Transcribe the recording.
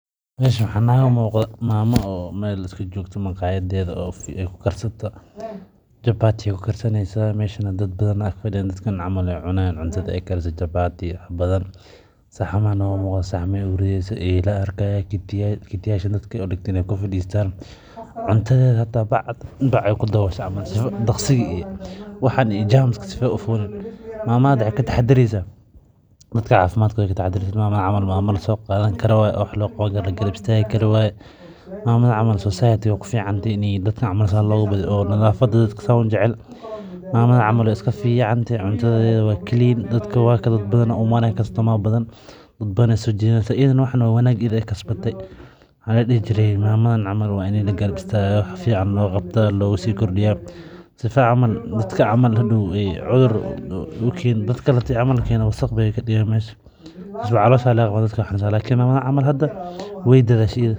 Meshaan waxaan naga muuqdaa mamo oo meel iska joogto maqaayaddeyda oo ku karsato chapati ayey ku karsaneysaa. Meshaana dad badan ayaa fadhiyaan, dadkaan cunto ayay cunayaan cuntada ay karisay. Chapatiga badan saxan ayay ugu ridaysaa, iyo eeyla ayaan arkaa. kiti yaal ayay dadka u dhigtay in ay ku fadistaan cuntadayda. Xitaa baaq ayay ku dabooshay si ay dhaqsi iyo jerms[csd] ka si fudud aysan u fulin. Mamada hadda maxay ka dheertahay Dadka caafimaadkooda ka taxadaraysaa. Mamadan camal mamo la soo qaadani karo waa, waa wax loo qirayo, la garab istaagi karo waa. Mamadan camal, society-ga way ku fiican tahay. Mamadan camal way iska fiican tahay. Cuntadayda waa clean, dadka waa kaan, dad badan ayaa u imaanaya. Customer badan ayay soo jiidanaysaa. Ayadana waxan oo wanaag ayay kasbatay. Mamadan camal waa in la garab istaago, waa wax fiican loo qabtaa, loogana sii kordhiyo. Si fiican camal, dadka cudur u keeniin, dadka kale keeniin. Haddii camal la keeno wasakh ayay ka digayaan meesha, dadkana caloosha laga qawani. Laakiin mamadan camal hadda way dadaashay ayada.